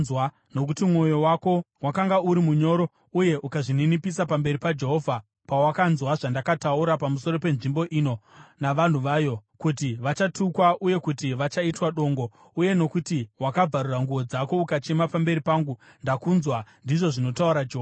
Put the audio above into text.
Nokuti mwoyo wako wakanga uri munyoro uye ukazvininipisa pamberi paJehovha pawakanzwa zvandakataura pamusoro penzvimbo ino navanhu vayo, kuti vachatukwa uye kuti vachaitwa dongo, uye nokuti wakabvarura nguo dzako ukachema pamberi pangu, ndakunzwa, ndizvo zvinotaura Jehovha.